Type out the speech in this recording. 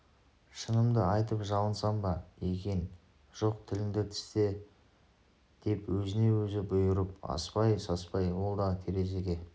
шынымды айтып жалынсам ба екен жоқ тіліңді тісте деп өзіне өзі бұйырып аспай-саспай ол да терезеге